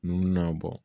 Nunnu na bɔ